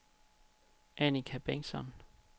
Annika Bengtsson